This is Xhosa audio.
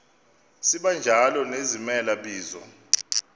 sibanjalo nezimela bizo